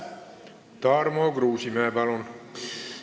Tarmo Kruusimäe, palun!